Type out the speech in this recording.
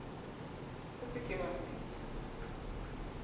o se ke wa mpitsa